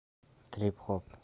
трип хоп